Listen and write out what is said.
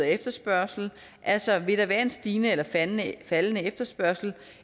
efterspørgsel altså vil der være en stigende eller faldende faldende efterspørgsel